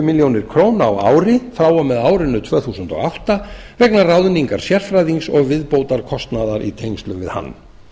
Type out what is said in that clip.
milljónir króna á ári frá og með árinu tvö þúsund og átta vegna ráðningar sérfræðings og viðbótarkostnaðar í tengslum við hann